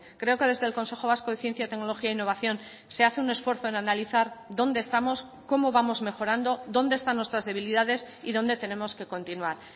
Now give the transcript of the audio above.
creo que desde el consejo vasco de ciencia tecnología e innovación se hace un esfuerzo en analizar dónde estamos cómo vamos mejorando dónde están nuestras debilidades y dónde tenemos que continuar